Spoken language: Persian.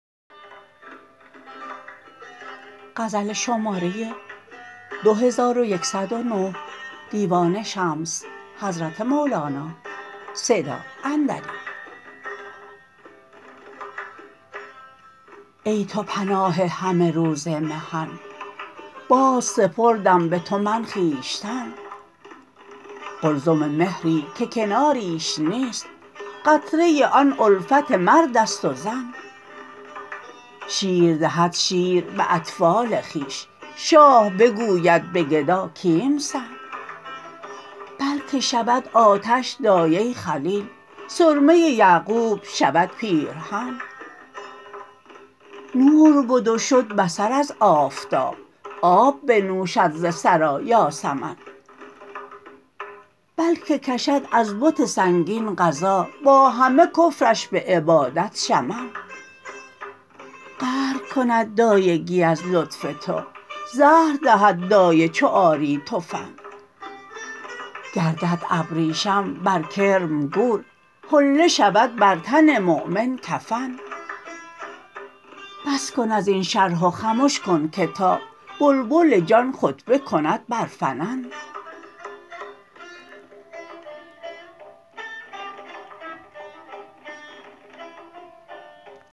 ای تو پناه همه روز محن بازسپردم به تو من خویشتن قلزم مهری که کناریش نیست قطره آن الفت مرد است و زن شیر دهد شیر به اطفال خویش شاه بگوید به گدا کیمسن بلک شود آتش دایه خلیل سرمه یعقوب شود پیرهن نور بد و شد بصر از آفتاب آب بنوشد ز ثری یاسمن بلک کشد از بت سنگین غذا با همه کفرش به عبادت شمن قهر کند دایگی از لطف تو زهر دهد دایه چو آری تو فن گردد ابریشم بر کرم گور حله شود بر تن مؤمن کفن بس کن از این شرح و خمش کن که تا بلبل جان خطبه کند بر فنن